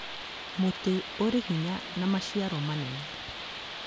Mũtĩ ũrĩ hinya na maciaro manene